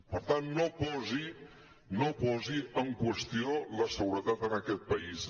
per tant no posi en qüestió la seguretat en aquest país